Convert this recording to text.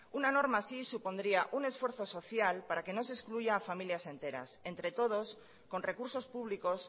una norma así supondría un esfuerzo social para que no se excluya a familias enteras entre todos con recursos públicos